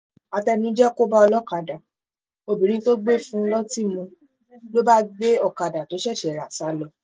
àtẹnujẹ kò bá ọlọ́kadà obìnrin tó gbé fún un lọ́tì mu ló bá gbé ọ̀kadà tó ṣẹ̀ṣẹ̀ rà sá lọ